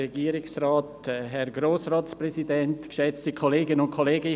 Ich gebe Grossrat Vanoni für die grüne Fraktion das Wort.